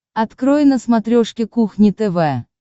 открой на смотрешке кухня тв